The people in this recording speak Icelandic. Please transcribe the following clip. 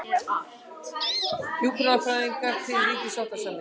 Hjúkrunarfræðingar til ríkissáttasemjara